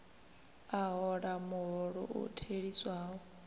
a hola muholo u theliswaho